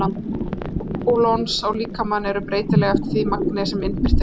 Áhrif pólons á líkamann eru breytileg eftir því magni sem innbyrt er.